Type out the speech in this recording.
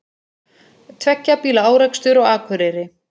Tveggja bíla árekstur á Akureyri